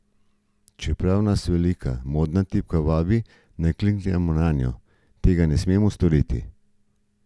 Čeprav nas velika modra tipka vabi, naj kliknemo nanjo, tega ne smemo storiti.